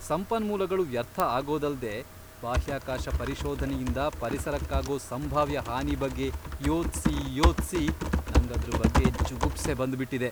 ಸಂಪನ್ಮೂಲಗಳು ವ್ಯರ್ಥ ಆಗೋದಲ್ದೇ ಬಾಹ್ಯಾಕಾಶ ಪರಿಶೋಧನೆಯಿಂದ ಪರಿಸರಕ್ಕಾಗೋ ಸಂಭಾವ್ಯ ಹಾನಿ ಬಗ್ಗೆ ಯೋಚ್ಸಿ ಯೋಚ್ಸಿ ನಂಗ್ ಅದ್ರ್ ಬಗ್ಗೆ ಜುಗುಪ್ಸೆ ಬಂದ್ಬಿಟಿದೆ.